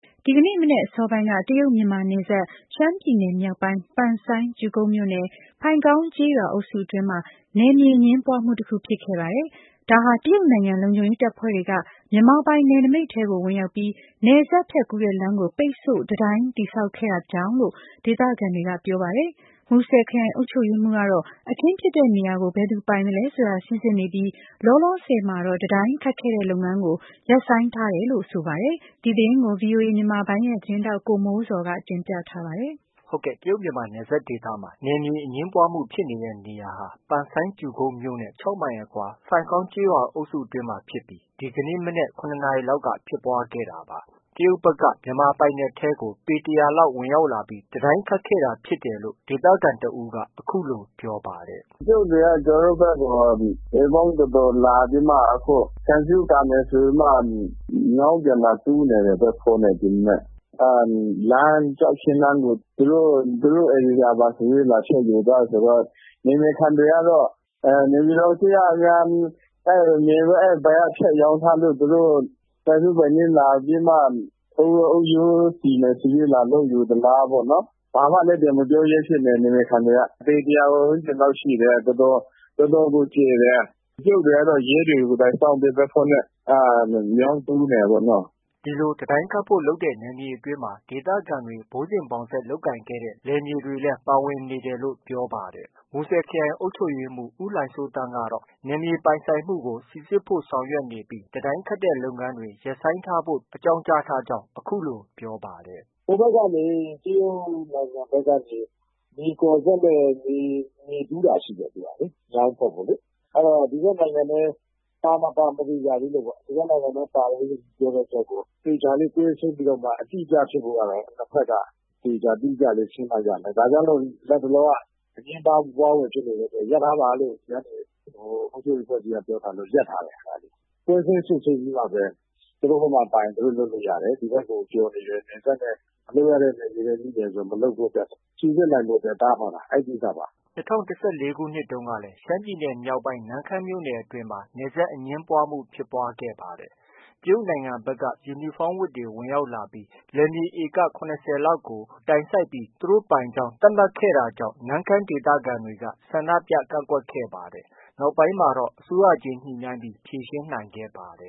ဒီကနေ့ မနက်အစောပိုင်းက တရုတ်- မြန်မာနယ်စပ် ရှမ်းပြည်နယ်မြောက်ပိုင်း ပန်ဆိုင်း မြို့နယ် ဖိုင်ကောင်းကျေးရွာအုပ်စု အတွင်းက နယ်မြေအငြင်းပွားမှု တခုဖြစ်ခဲ့ပါတယ်။ တရုတ်နိုင်ငံ လုံခြုံရေးတပ်ဖွဲ့တွေက မြန်မာပိုင် နယ်နမိတ် ထဲကို ဝင်ရောက်ပြီးနယ်စပ်ဖြတ်ကူးတဲ့ လမ်းကို ပိတ်ဆို့ တံတိုင်းတည်ဆောက်ခဲ့တာလို့ ဒေသခံတွေကပြောပါတယ်။ မူဆယ်ခရိုင်အုပ်ချုပ်ရေးမှူး ကတော့ အခင်းဖြစ်တဲ့နေရာကို ဘယ်သူ ပိုင်ဆိုင်သလဲဆိုတာ စိစစ်နေပြီး လောလောဆည်မှာတော့ တံတိုင်းခတ်ခဲ့ လုပ်ငန်းကို ရပ်ဆိုင်း ခိုင်းထားတယ်လို့ ဆိုပါတယ်။ ဒီသတင်းကို ဗွီအိုအေမြန်မာပိုင်းရဲ့ သတင်းထောက် ကိုမိုးဇော်က တင်ပြထားပါတယ်။ တရုတ်မြန်မာနယ်ဒေသမှာ နယ်မြေအငြင်းပွားမှုဖြစ်နေတဲ့ နေရာဟာ ပန်ဆိုင်း မြို့ နဲ့ ၆မိုင်အကွာ ဖိုင်ကောင်းကျေးရွာ အုပ်စုအတွင်းမှာ မနက် ၇နာရီလောက် က ဖြစ်ပွားခဲ့တာပါ။ တရုတ်တွေက မြန်မာပိုင်နယ်ထဲကို ပေ ၁၀၀ ဝန်းကျင်လောက် ဝင်ရောက်ပြီး တံတိုင်းခတ် တာဖြစ်တယ်လို့ ဒေသခံတစ်ဦးက အခုလို ပြောပါတယ်။ “ တရုတ်တွေက ကျနော်တို့ဘက်ကို ပေပေါင်းတော်တော်လာပြီးမှ ခြံစည်းရိုး ကာမယ်ဆိုပြီးမှ မြောင်းပြန်လာတူးနေတယ်။ ဘတ်ဖိုးနဲ့ ဒီမနက်။ ကျောက်ခင်းလမ်းကို သူတို့ ဧရိယာပါဆိုပြီးတော့ လာပြီးတော့ ဖြတ်ယူသွားတယ်ဆိုတော့ နယ်မြေခံတွေကတော့ နေပြည်တော်အစိုးရကများ အဲဒီအပိုင်း ဖြတ်ရောင်းထား လို့ သူတို့ ပိုင်စိုးပိုင်းနင်း လာပြီးမှ အုတ်ရိုးစီမယ်ဆိုပြီး လာလုပ်ယူသလားပေါ့။ ဘာမှလည်း ပြန်မပြောရဲဖြစ်နေတယ်။ နယ်မြေခံတွေက။ ပေတစ်ရာဝန်းကျင်လောက်ရှိတယ်။ တော်တော်ကို ကျယ်တယ်။ တရုတ်တွေကတော့ ရဲတွေ ကိုယ်တိုင်စောင့်ပြီး ဘတ်ဖိုးနဲ့ မြောင်းတူးနေတာပေါ့နော်။” ဒီလို တံတိုင်းခတ်ဖို့ လုပ်တဲ့ နယ်မြေအတွင်းမှာ ဒေသခံတွေ ဘိုးစဉ်ဘောင်ဆက်လုပ်ကိုင်ခဲ့တဲ့ လယ်မြေတွေလည်း ပါဝင်နေတယ်လို့ ပြောပါတယ်။ မူဆယ်ခရိုင်အုပ်ချုပ်ရေးမှူး ဦးလှိုင်စိုးသန်းကတော့ နယ်မြေပိုင်ဆိုင်မှုကို စိစစ်ဖို့ ဆောင်ရွက်နေပြီး လုပ်ငန်းတွေ ရပ်ဆိုင်းဖု့ိ ပြောဆိုထားကြောင်း အခုလို ပြောပါတယ်။ “ ဟိုဘက်ကနေ တရုတ်နိုင်ငံဘက်ကနေ မြေကော်စက်နဲ့ မြေ တူးတာရှိတယ်။ မြောင်းဖောက်ဖို့လေ။ အဲတော့ ဒီဘက်နိုင်ငံထဲ ပါ မပါ မသေချာသေးလို့ပေါ့။ ဒီဘက်နိုင်ငံထဲ ပါတယ်လို့ ပြောတဲ့အတွက်ကို သေချာလေး ကွင်းဆင်းပြီးတော့မှ အတိအကျဖြစ်ဖို့ကတော့ နှစ်ဘက်က သေချာ တိကျလေး ရှင်းမှ ရမယ်။ ဒါကြောင့်မို့ နှစ်ဘက်က အငြင်းပွားဖွယ်ဖြစ်နေတဲ့အတွက် ရပ်ထားပါလို့ အုပ်ချုပ်ရေးအဖွဲ့အစည်းက ပြောထားလို့ ရပ်ထားတယ်။ ကွင်းဆင်းစစ်ဆေးပြီးမှပဲ သူတို့ဘက်ကမှာ ပါနေရင် သူတို့ လုပ်လို့ ရတယ်။ ဒီဘက်ကို ကျော်နေရင် နယ်စပ်နဲ့ မလုပ်ရတဲ့နယ်မြေထဲ ရောက်တယ်ဆို မလုပ်ဖို့ စိစစ်နိုင်ဖို့ တားထားတာ။ အဲဒီကိစ္စပါ။ ” ၂၀၁၄ခုနှစ်တုန်းကလည်း ရှမ်းပြည်နယ်မြောက်ပိုင်း နမ့်ခမ်းမြို့နယ်အတွင်းမှာ နယ်စပ်အငြင်းပွားမှုဖြစ်ပွားခဲ့ပါတယ်။ တရုတ်နိုင်ငံဖက်က ယူနီဖောင်းဝတ်တွေ ဝင်ရောက်လာပြီး လယ်မြေ`ဧက ၇၀လောက်ကို တိုင်စိုက်ပြီး သူတို့ပိုင်ကြောင်း သတ်မှတ်ခဲ့လို့ နမ့်ခမ်းဒေသခံတွေက ဆန္ဒြုပကန့်ကွက်ခဲ့ပါတယ်။ နောက်ပိုင်းမှာတော့ အစိုးရချင်း ညှိနှိုင်းဖြေရှင်းခဲ့ပါတယ